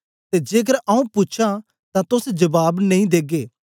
ते जेकर आऊँ पूछां तां तोस जबाब नेई देगे